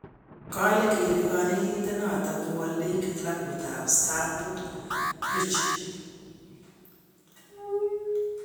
Kale gere kanetindet noto kowale klabuit ab Stamford Bridge